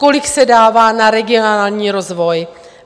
Kolik se dává na regionální rozvoj.